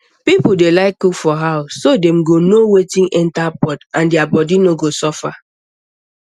people dey like cook for house so dem go know wetin enter pot and their body go no suffer